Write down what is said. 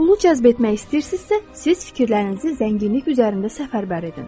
Pulu cəzb etmək istəyirsinizsə, siz fikirlərinizi zənginlik üzərində səfərbər edin.